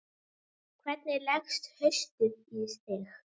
Hvernig leggst haustið í þig?